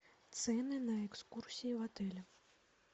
цены на экскурсии в отеле